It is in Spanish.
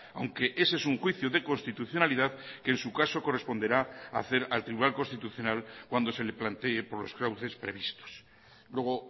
aunque ese es un juicio de constitucionalidad que en su caso corresponderá a hacer al tribunal constitucional cuando se le plantee por los cauces previstos luego